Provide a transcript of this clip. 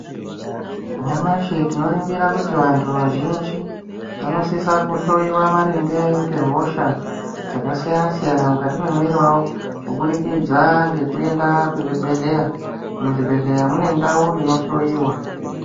Nyamashi tinoringira kuti vanhu vazhinji vanosisa kuhloyiwa maringe ngehosha dzakasiyana siyana mukati memwiri wawo kuburikidza ngekuenda kuzvibhedhleya, muzvibhedhleya mune ndau inohloyiwa.